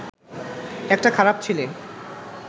একটা খারাপ ছেলে